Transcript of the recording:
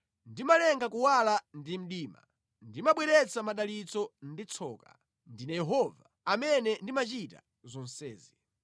Ndimalenga kuwala ndi mdima, ndimabweretsa madalitso ndi tsoka; ndine Yehova, amene ndimachita zonsezi.